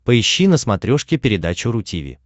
поищи на смотрешке передачу ру ти ви